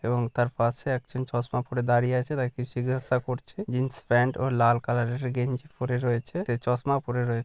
এবং তার পাশে একজন চশমা পড়ে দাঁড়িয়ে আছে তাকে কিছু জিজ্ঞাসা করছে। জিন্স প্যান্ট ও লাল কালার -এর গেঞ্জি পড়ে রয়েছে। তে চশমা পড়ে রয়ে--